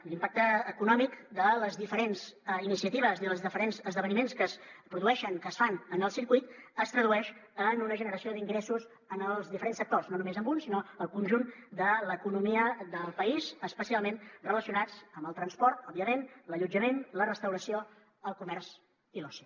i l’impacte econòmic de les diferents iniciatives i dels diferents esdeveniments que es produeixen que es fan en el circuit es tradueix en una generació d’ingressos en els diferents sectors no només en un sinó al conjunt de l’economia del país especialment relacionats amb el transport òbviament l’allotjament la restauració el comerç i l’oci